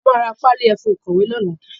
A máa ra páálí ẹfun ìkọ̀wé lọ́la.